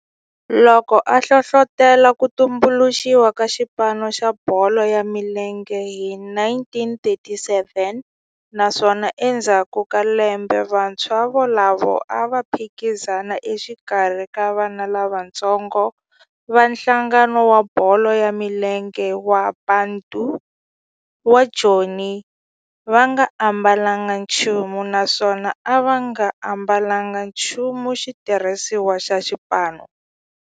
Loko a hlohlotela ku tumbuluxiwa ka xipano xa bolo ya milenge hi 1937 naswona endzhaku ka lembe vantshwa volavo a va phikizana exikarhi ka vana lavatsongo va nhlangano wa bolo ya milenge wa Bantu wa Joni va nga ambalanga nchumu naswona va nga ambalanga nchumu xitirhisiwa xa xipano.